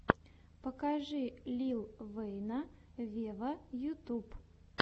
покажи лил вэйна вево ютюб